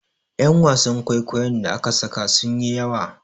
Yan wasan kwaikwayon da aka saka sun yi yawa